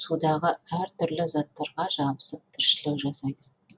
судағы әртүрлі заттарға жабысып тіршілік жасайды